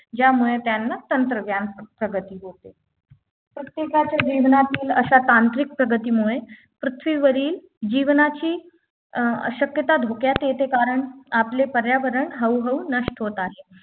ज्यामुळे त्यांना तंत्रज्ञान प्रगती होते प्रत्येकाच्या जीवनातील अशा तांत्रिक प्रगतीमुळे पृथ्वीवरील जीवनाची अं अशक्यता धोक्यात येते कारण आपले पर्यावरण हळूहळू नष्ट होत आहे